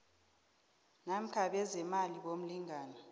namkha bezeemali bomlingani